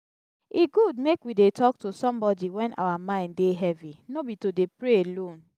e good make we dey talk to somebody wen our mind dey heavy no be to dey pray alone.